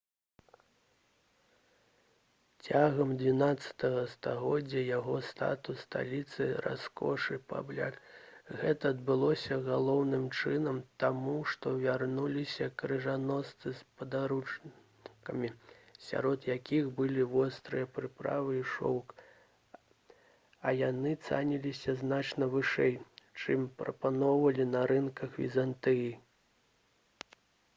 цягам xii стагоддзя яго статус сталіцы раскошы пабляк гэта адбылося галоўным чынам таму што вярнуліся крыжаносцы з падарункамі сярод якіх былі вострыя прыправы і шоўк а яны цаніліся значна вышэй чым прапаноўвалі на рынках візантыі